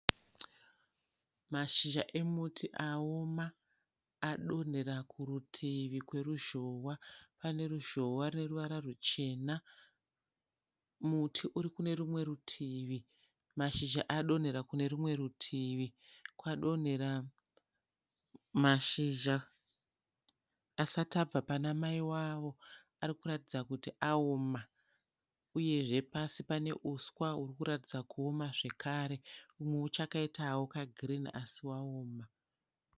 Mashizha emiti aoma adonhera kurutivi kweruzhowa. Pane ruzhowa hweruvara ruchena muti uri kune rumwe rutivi. Mashizha adonhera kune rumwe rutivi, kwadonhera mashizha asati abva pana mai vavo. arikuratidza kuti aoma uye pasi pane huswa hurikuratidza kuti aoma zvekare humwe hwakachaita girini asi hwaoma.